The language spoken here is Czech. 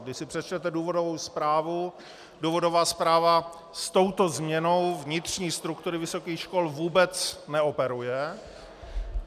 Když si přečtete důvodovou zprávu, důvodová zpráva s touto změnou vnitřní struktury vysokých škol vůbec neoperuje.